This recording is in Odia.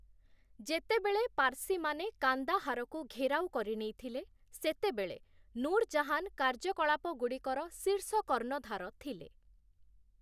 ଯେତେବେଳେ ପାର୍ସୀମାନେ କାନ୍ଦାହାରକୁ ଘେରାଉ କରିନେଇଥିଲେ, ସେତେବେଳେ ନୁର୍ ଜାହାନ୍‌ କାର୍ଯ୍ୟକଳାପଗୁଡ଼ିକର ଶୀର୍ଷ କର୍ଣ୍ଣଧାର ଥିଲେ ।